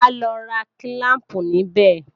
Máa lọ ra kílíìpù níbẹ̀